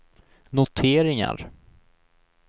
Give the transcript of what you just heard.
noteringar